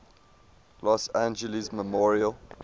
los angeles memorial